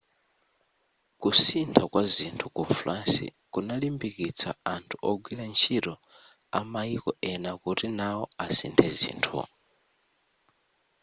kusintha kwa zinthu ku france kunalimbikitsa anthu ogwira ntchito amaiko ena kuti nao asinthe zinthu